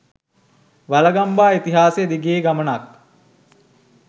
වළගම්බා ඉතිහාසය දිගේ ගමනක්